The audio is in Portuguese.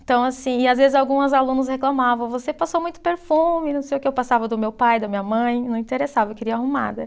Então, assim, e às vezes algumas alunos reclamavam, você passou muito perfume, não sei o que, eu passava do meu pai, da minha mãe, não interessava, eu queria ir arrumada.